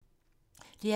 DR P2